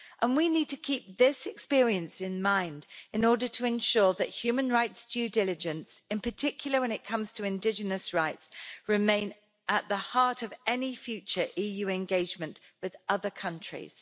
We need to keep this experience in mind in order to ensure that human rights due diligence, in particular when it comes to indigenous rights, remain at the heart of any future EU engagement with other countries.